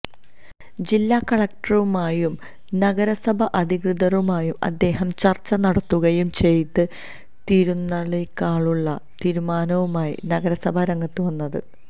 ജില്ലാ കളക്ടറുമായും നഗരസഭാ അധികൃതരുമായും അദ്ദേഹം ചർച്ച നടത്തുകയും ചെയ്തിരുന്നുളിക്കാനുള്ള തീരുമാനവുമായി നഗരസഭ രംഗത്ത് വന്നത്